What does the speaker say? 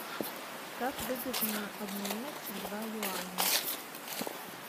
как выгодно обменять два юаня